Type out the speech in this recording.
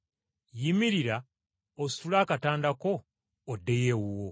“Yimirira ositule akatanda ko oddeyo ewuwo.”